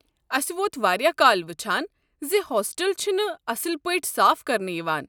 اسہِ ووت واریاہ کال وٕچھان زِ ہوسٹل چھِنہٕ اصٕل پٲٹھۍ صاف کرنہٕ یوان۔